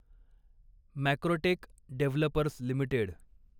Macrotech Developers limited